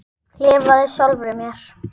Lifað sjálfri mér.